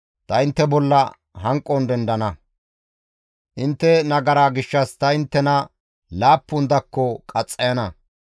ta intte bolla hanqon dendana; intte nagaraa gishshas ta inttena laappun dakko qaxxayana.